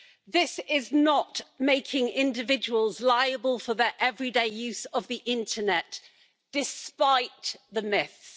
This is not about making individuals liable for their everyday use of the internet, despite the myths.